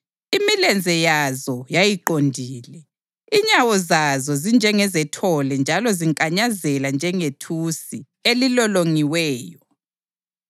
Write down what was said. Imilenze yazo yayiqondile; inyawo zazo zinjengezethole njalo zinkanyazela njengethusi elilolongiweyo.